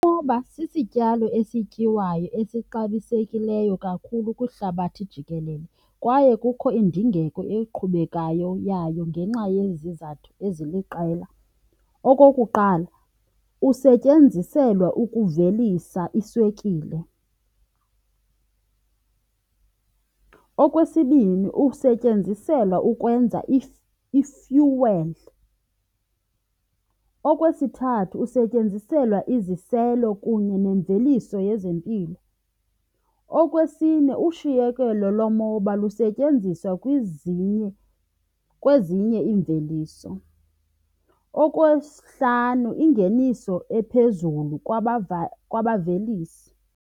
Umoba sisityalo esityiwayo esixabisekileyo kakhulu kwihlabathi jikelele kwaye kukho indingeko eqhubekayo yayo ngenxa yezizathu eziliqela. Okokuqala, usetyenziselwa ukuvelisa iswekile. Okwesibini, usetyenziselwa ukwenza i-fuel. Okwesithathu, usetyenziselwa iziselo kunye nemveliso yezempilo. Okwesine, ushiyekelo lomoba lusetyenziswa kwezinye iimveliso. Okwesihlanu, ingeniso ephezulu kwabavelisi.